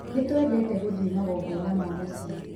Nĩtũendete gũthiĩ magongona ma mũciĩ